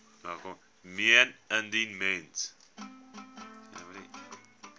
meen indien mens